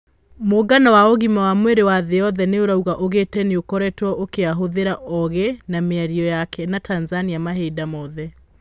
Mũngano wa ũgima wa mwĩrĩ wa thĩ yothe nĩ urauga ugĩte nĩũkoretwo ũkĩahũthĩra ogĩ a mĩario yake na Tanzania mahinda mothe.